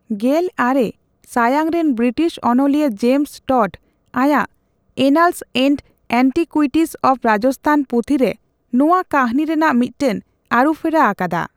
ᱜᱮᱞ ᱟᱨᱮ ᱥᱟᱭᱟᱝ ᱨᱮᱱ ᱵᱨᱤᱴᱤᱥ ᱚᱱᱚᱞᱤᱭᱟᱹ ᱡᱮᱢᱥ ᱴᱚᱰ ᱟᱭᱟᱜ 'annals and antiquities of Rajasthan' ᱯᱩᱛᱷᱤ ᱨᱮ ᱱᱚᱣᱟ ᱠᱟᱦᱱᱤ ᱨᱮᱱᱟᱜ ᱢᱤᱫᱴᱟᱝ ᱟᱹᱨᱩᱯᱷᱮᱨᱟ ᱟᱠᱟᱫᱟ ᱾